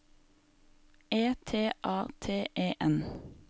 E T A T E N